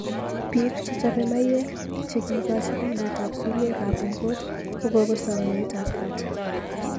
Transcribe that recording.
Bik chechopei maiyek chekikochi kainet ab sumek ab ungot kokosom nyoet ab kat.